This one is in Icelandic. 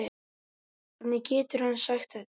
Hvernig getur hann sagt þetta?